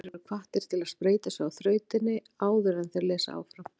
Lesendur eru hvattir til að spreyta sig á þrautinni áður en þeir lesa áfram.